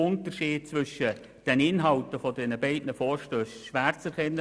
Unterschiede zwischen den beiden Vorstössen sind nur schwer erkennbar.